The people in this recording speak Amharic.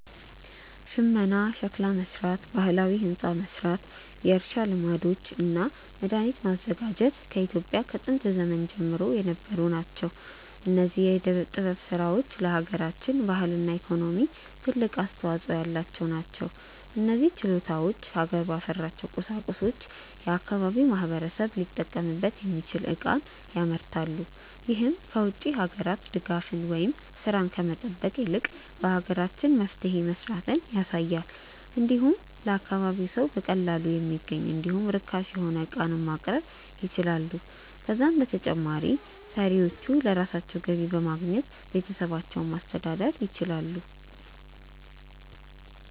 ሽመና፣ ሸክላ መስራት፣ ባህላዊ ህንፃ መስራት፣ የእርሻ ልማዶች እና መድሃኒት ማዘጋጀት በኢትዮጵያ ከጥንት ዘመን ጀምሮ የነበሩ ተግባራት ናቸው። እነዚህ የዕደ ጥበብ ስራዎች ለሃገራችን ባህልና ኢኮኖሚ ትልቅ አስተዋጾ ያላቸው ናቸው። እነዚህ ችሎታዎች ሀገር ባፈራቸው ቁሳቁሶች የአካባቢው ማህበረሰብ ሊጠቀምበት የሚችል ዕቃን ያመርታሉ። ይህም ከ ውጭ ሀገራት ድጋፍን ወይም ስራን ከመጠበቅ ይልቅ በሀገራችን መፍትሄ መስራትን ያሳያል። እንዲሁም ለአካባቢው ሰው በቀላሉ የሚገኝ እንዲሁም ርካሽ የሆነ ዕቃንም ማቅረብ ይችላሉ። ከዛም በተጨማሪ ሰሪዎቹ ለራሳቸው ገቢ በማግኘት ቤተሰባቸውን ማስተዳደር ይችላሉ።